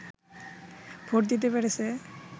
vote দিতে পেরেছে